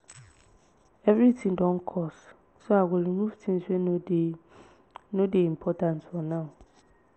everything don cost so i go remove things wey no dey no dey important for now.